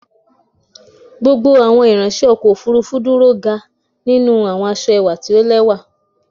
Gbogbo awọn iranṣẹ ọkọ ofurufu duro ga ni awọn aṣọ ẹwa ti o lẹwa